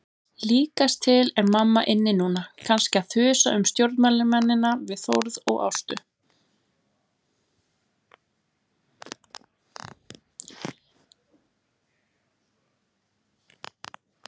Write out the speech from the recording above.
Líkast til er mamma inni núna, kannski að þusa um stjórnmálamennina við Þórð og Ástu.